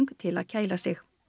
til að kæla sig